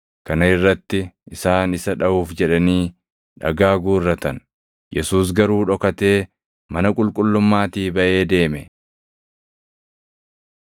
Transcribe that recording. Kana irratti isaan isa dhaʼuuf jedhanii dhagaa guurratan; Yesuus garuu dhokatee mana qulqullummaatii baʼee deeme.